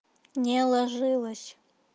не ложилась